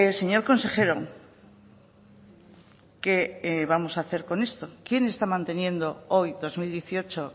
señor consejero qué vamos a hacer con esto quién está manteniendo hoy dos mil dieciocho